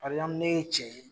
parɛzanpulu ne ye cɛ ye